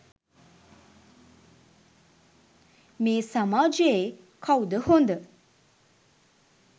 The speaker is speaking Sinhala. මේ සමාජයේ කවුද හොඳ?